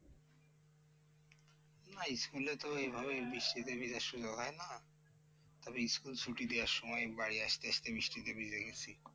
না school তো এভাবে বৃষ্টিতে ভেজার সুযোগ হয় না? তবে school ছুটি দেওয়ার সময় বাড়ি আসতে আসতে বৃষ্টিতে ভিজে গেছি।